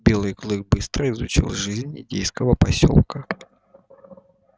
белый клык быстро изучил жизнь индейского посёлка